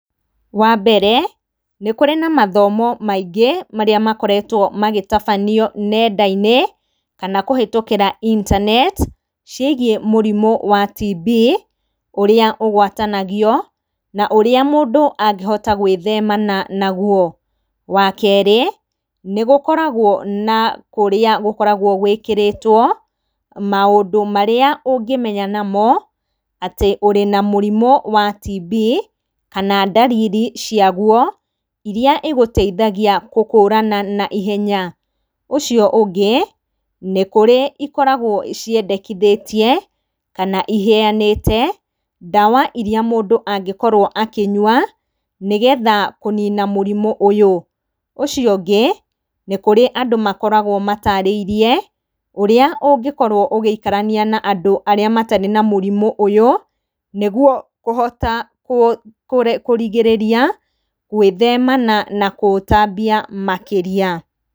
Wambere, nĩ kũrĩ na mathomo maingĩ, marĩa makoretwo magĩtabanio nenda-inĩ, kana kũhetũkĩra intaneti, ciĩgiĩ mũrimũ wa TB, ũrĩa ũgwatanagio na ũrĩa mũndũ angĩhota gũĩthemana naguo. Wakerĩ, nĩ gũkoragwo na kũrĩa gũkoragwo gũĩkĩrĩtwo maũndũ marĩa ũngĩmenya namo, atĩ wĩna mũrimũ wa TB, kana ndariri ciaguo, iria cigũteithagia gũkũrana naihenya. Ũcio ũngĩ, nĩkũrĩ ikoragwo ciandekithĩtie, kana iheyanĩte, ndawa iria mũndũ angĩkorwo akĩnyua, nĩgetha kũnina mũrimũ ũyũ. Ũcio ũngĩ, nĩ kũrĩ na andũ makoragwo matarĩirie ũrĩa ũngĩkorwo ũgĩikarania na andũ arĩa matarĩ na mũrimũ ũyũ, nĩguo kũhota kũrigĩrĩria, gũĩthemana na kũũtambia makĩria.